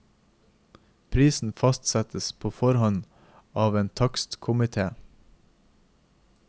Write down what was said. Prisen fastsettes på forhånd av en takstkomité.